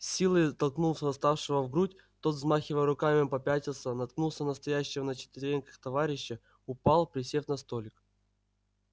с силой толкнул восставшего в грудь тот взмахивая руками попятился наткнулся на стоящего на четвереньках товарища упал присев на столик